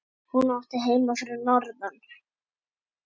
Hún átti heima fyrir norðan.